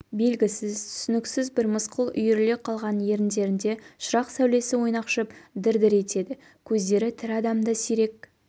белгісіз түсініксіз бір мысқыл үйіріле қалған еріндерінде шырақ сәулесі ойнақшып дір-дір етеді көздері тірі адамда сирек